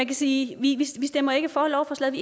kan sige at vi stemmer ikke for lovforslaget